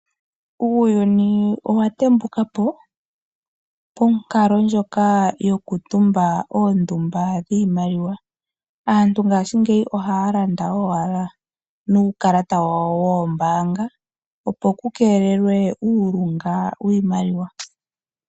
Uuyuni owa tembuka po ponkalo ndjoka yokutumba oondumba dhiimaliwa. Aantu ngashingeyi ohaya landa owala nuukalata wawo wombaanga opo ku keeleliwe uulunga wiimaliwa.